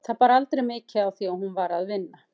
Það bar aldrei mikið á því að hún var að vinna.